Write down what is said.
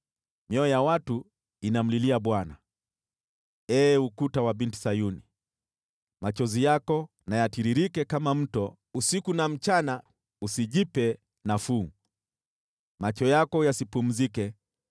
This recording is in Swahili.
Mioyo ya watu inamlilia Bwana. Ee ukuta wa Binti Sayuni, machozi yako na yatiririke kama mto usiku na mchana; usijipe nafuu, macho yako yasipumzike.